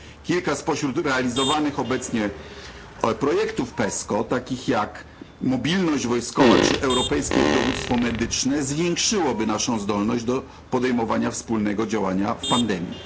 Kilka spośród realizowanych obecnie projektów PESCO, takich jak mobilność wojskowa czy europejskie dowództwo medyczne, zwiększyłoby naszą zdolność do podejmowania wspólnego działania w pandemii.